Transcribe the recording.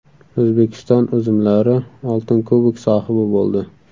O‘zbekiston uzumlari oltin kubok sohibi bo‘ldi.